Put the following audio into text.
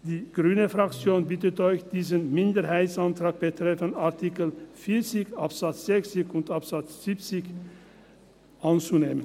Die Fraktion Grüne bittet Sie, diesen Minderheitsantrag betreffend Artikel 40 Absatz 6 und Absatz 7 anzunehmen.